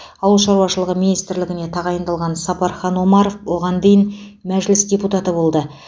ауыл шаруашылығы министрлігіне тағайындалған сапархан омаров оған дейін мәжіліс депутаты болды